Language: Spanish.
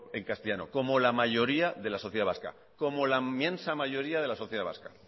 en castellano como la mayoría de la sociedad vasca como la inmensa mayoría de la sociedad vasca